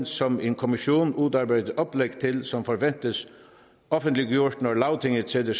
som en kommission udarbejder oplæg til som forventes offentliggjort når lagtinget sætter